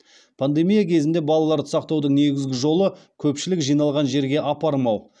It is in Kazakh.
пандемия кезінде балаларды сақтаудың негізгі жолы көпшілік жиналған жерге апармау